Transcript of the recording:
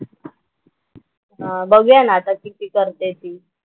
बघूया ना आता किती करते ती.